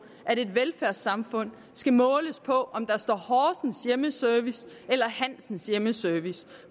at et velfærdssamfund skal måles på om der står horsens hjemmeservice eller hansens hjemmeservice